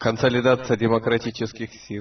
консолидация демократических сил